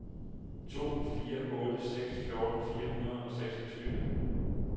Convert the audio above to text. to fire otte seks fjorten fire hundrede og seksogtyve